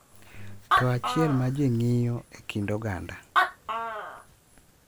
To achiel ma ji ng’iyo e kind oganda,